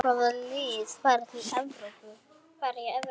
Hvaða lið fara í Evrópu?